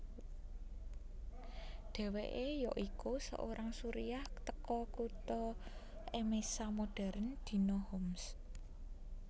Deweke yoiku seorang Suriah teko kuto Emesa modern dino Homs